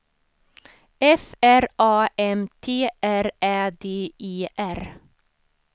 F R A M T R Ä D E R